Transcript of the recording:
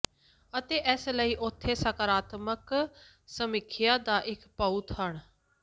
ਅਤੇ ਇਸ ਲਈ ਉਥੇ ਸਕਾਰਾਤਮਕ ਸਮੀਖਿਆ ਦਾ ਇੱਕ ਬਹੁਤ ਹਨ